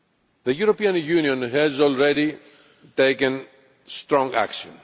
The European Union has already taken strong action.